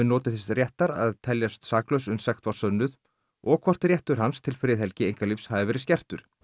notið þess réttar að teljast saklaus uns sekt var sönnuð og hvort réttur hans til friðhelgi einkalífs hafi verið skertur